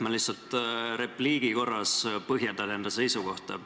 Ma lihtsalt repliigi korras põhjendan enda seisukohta.